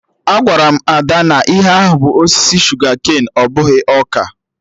Agwara m Ada na ihe ahụ bụ osisi shuga-ken, ọ bụghị ọka